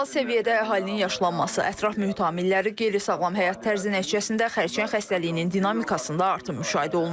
Qlobal səviyyədə əhalinin yaşlanması, ətraf mühit amilləri, qeyri-sağlam həyat tərzi nəticəsində xərçəng xəstəliyinin dinamikasında artım müşahidə olunur.